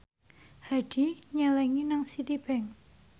Hadi nyelengi nang Citibank